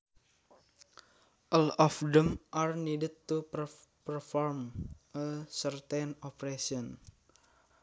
All of them are needed to perform a certain operation